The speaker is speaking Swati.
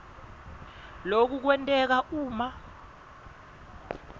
loku kwenteka uma